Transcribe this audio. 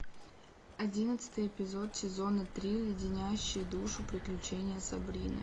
одиннадцатый эпизод сезона три леденящие душу приключения сабрины